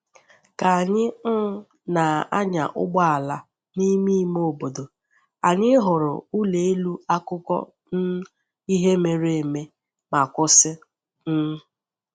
Ka anyị um na-anya ụgbọala n’ime ime obodo, anyị hụrụ ụlọ elu akụkọ um ihe mere eme ma kwụsị. um